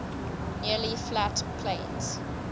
nearly flat plains